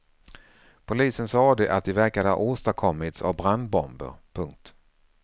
Polisen sade att de verkade ha åstadkommits av brandbomber. punkt